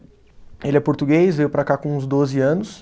Ele é português, veio para cá com uns doze anos.